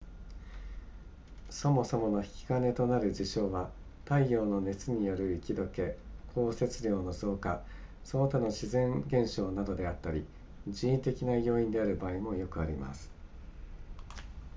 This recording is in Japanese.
そもそもの引き金となる事象は太陽の熱による雪解け降雪量の増加その他の自然現象などであったり人為的な要因である場合もよくあります